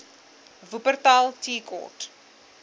wupperthal tea court